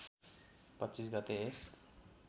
२५ गते यस